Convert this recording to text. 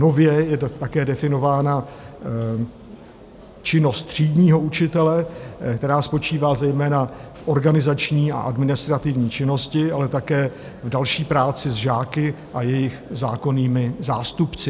Nově je také definována činnost třídního učitele, která spočívá zejména v organizační a administrativní činnosti, ale také v další práci s žáky a jejich zákonnými zástupci.